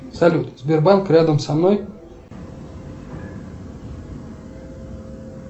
салют сбербанк рядом со мной